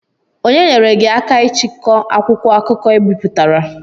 Onye nyeere gị aka ichikọ akwụkwọ akụkọ I bipụtara?